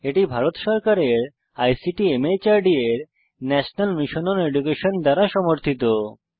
এটি ভারত সরকারের ICT MHRD এর ন্যাশনাল মিশন ওন এডুকেশন দ্বারা সমর্থিত